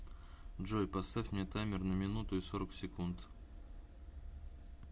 джой поставь мне таймер на минуту и сорок секунд